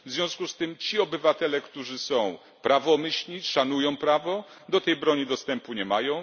W związku z tym ci obywatele, którzy są prawomyślni, szanują prawo, do tej broni dostępu nie mają.